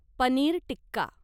paneer tikka